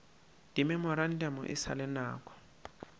dimemorantamo e sa le nako